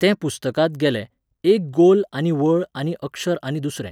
तें पुस्तकांत गेलें, एक गोल आनी वळ आनी अक्षर आनी दुसरें.